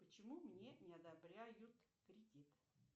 почему мне не одобряют кредит